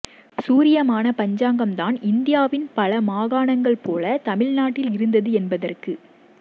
சூரியமான பஞ்சாங்கம் தான் இந்தியாவின் பல மாகாணங்கள் போலத் தமிழ்நாட்டில் இருந்தது என்பதற்கு